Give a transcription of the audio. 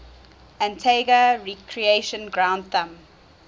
antigua recreation ground thumb